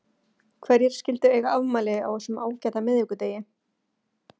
Hverjir skyldu eiga afmæli á þessum ágæta miðvikudegi?